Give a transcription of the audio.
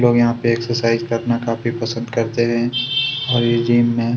लोग यहाँ पे एक्सरसाइज करना काफी पसंद करते हैं और इस जिम में--